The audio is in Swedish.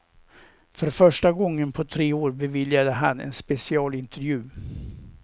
För första gången på tre år beviljade han en specialintervju.